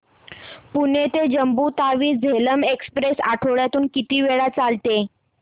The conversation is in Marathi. पुणे ते जम्मू तावी झेलम एक्स्प्रेस आठवड्यातून किती वेळा चालते